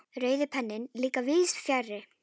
Rauði penninn líka víðs fjarri.